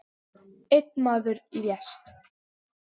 Einn maður lést.